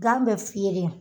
Gan bɛ fiyere